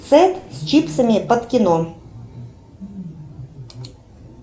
сэт с чипсами под кино